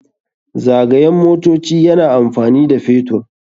Zagayen motoci yana amfani da man fetur.